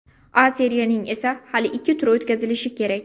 A Seriyaning esa hali ikki turi o‘tkazilishi kerak.